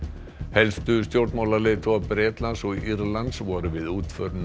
helstu stjórnmálaleiðtogar Bretlands og Írlands voru við útför